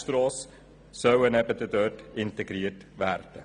Insbesondere soll die Sanierung der Bernstrasse integriert werden.